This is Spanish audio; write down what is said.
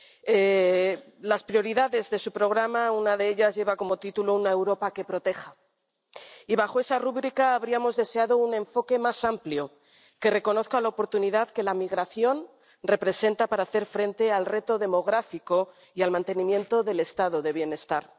Entre las prioridades de su programa una de ellas lleva por título Una Europa que proteja, y bajo esta rúbrica habríamos deseado un enfoque más amplio, que reconozca la oportunidad que la migración representa para hacer frente al reto demográfico y al mantenimiento del Estado del Bienestar.